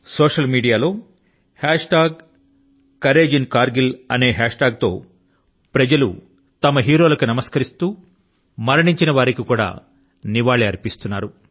social media లో కౌరేజీన్కార్గిల్ అనే hashtag తో ప్రజలు వారి యొక్క కథానాయకుల కు నమస్కరిస్తూ మరణించిన వారికి నివాళి అర్పిస్తున్నారు